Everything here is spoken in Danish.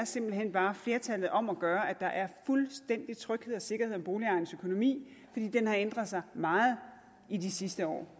simpelt hen bare er flertallet om at gøre at der er fuldstændig tryghed og sikkerhed om boligejerens økonomi fordi den har ændret sig meget i de sidste år